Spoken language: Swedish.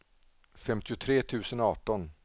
femtiotre tusen arton